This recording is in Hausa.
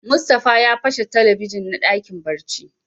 Mustapha ya pashe Telebijin na dakin barci.